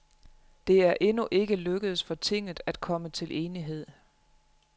Det er endnu ikke lykkedes for tinget at komme til enighed.